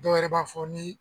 Dɔw yɛrɛ b'a fɔ ni